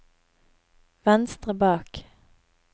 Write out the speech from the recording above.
venstre bak